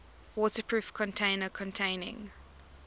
waterproof container containing